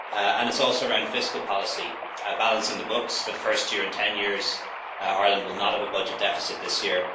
And it is also around fiscal policy balancing the books for the first year in 10 years, Ireland will not have a budget deficit this year.